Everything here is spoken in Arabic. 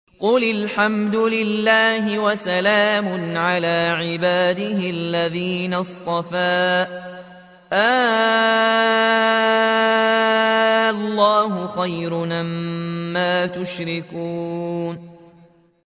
قُلِ الْحَمْدُ لِلَّهِ وَسَلَامٌ عَلَىٰ عِبَادِهِ الَّذِينَ اصْطَفَىٰ ۗ آللَّهُ خَيْرٌ أَمَّا يُشْرِكُونَ